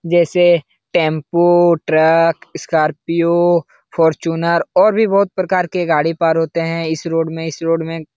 जैसे tempo truck Scorpio Fortuner और भी बहुत प्रकार के गाड़ी पार होते है इस रोड में इस रोड में --